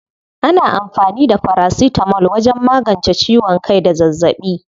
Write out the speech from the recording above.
Ana amfani da farasitamol wajen magance ciwon kai da zazzaɓi.